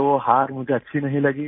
तो हार मुझे अच्छी नहीं लगी